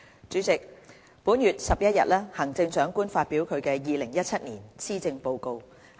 主席，本月11日，行政長官發表2017年施政報告。